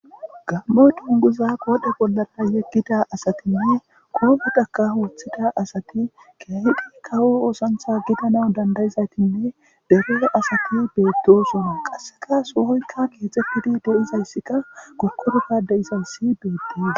gammo tunguza qoodhe bollara yeggida asatinne koometaka hooththida asati keehidi kawo oosantha gidana dandayizaytinne dero asati beettosuna qasseka soohoykka geexefidi de7izayssikka kokkorofade izayssi deeddee